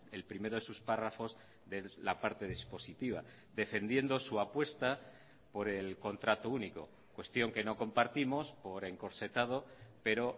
el primero de sus párrafos de la parte dispositiva defendiendo su apuesta por el contrato único cuestión que no compartimos por encorsetado pero